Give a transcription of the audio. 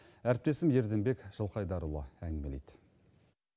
әріптесім ерденбек жылқайдарұлы әңгімелейді